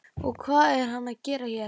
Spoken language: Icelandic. Og hvað er hann að gera hér?